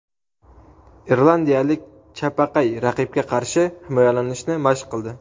Irlandiyalik chapaqay raqibga qarshi himoyalanishni mashq qildi.